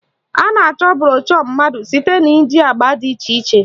A na-achọ broshu mma site na iji agba dị iche iche